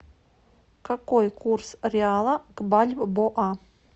какой курс реала к бальбоа